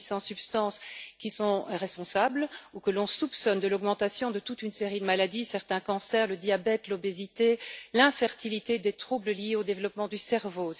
Il s'agit de 800 substances qui sont responsables ou que l'on soupçonne de l'augmentation de toute une série de maladies certains cancers, le diabète, l'obésité, l'infertilité, ainsi que différents troubles liés au développement du cerveau.